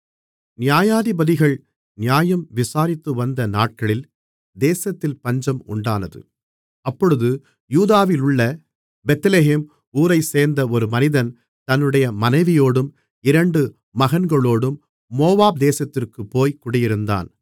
நியாயாதிபதிகள் நியாயம் விசாரித்துவந்த நாட்களில் தேசத்தில் பஞ்சம் உண்டானது அப்பொழுது யூதாவிலுள்ள பெத்லெகேம் ஊரைச்சேர்ந்த ஒரு மனிதன் தன்னுடைய மனைவியோடும் இரண்டு மகன்களோடும் மோவாப் தேசத்திற்குப் போய் குடியிருந்தான்